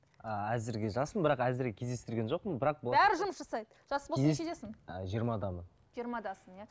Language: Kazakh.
ааа әзірге жаспын бірақ әзірге кездестірген жоқпын бірақ бәрі жұмыс жасайды жас болсаң нешедесің жиырмадамын жиырмадасың иә